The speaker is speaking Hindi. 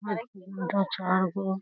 और तीन गो चार गो --